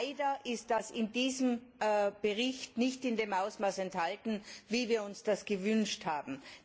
Leider ist das in diesem Bericht nicht in dem Ausmaß enthalten, wie wir uns das gewünscht haben.